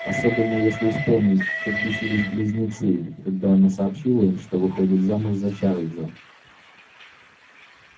особенно если вспомнить как бесились близнецы когда она сообщила им что выходит замуж за чарльза